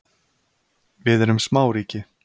Við erum smáríki.